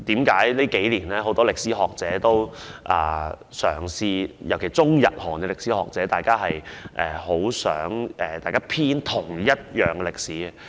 近年間，很多歷史學者——尤其是中、日、韓歷史學者——均十分希望共同編寫歷史。